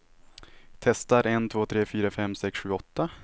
Testar en två tre fyra fem sex sju åtta.